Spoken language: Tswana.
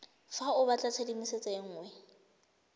fa o batlatshedimosetso e nngwe